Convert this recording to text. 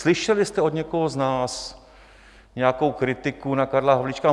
Slyšeli jste od někoho z nás nějakou kritiku na Karla Havlíčka?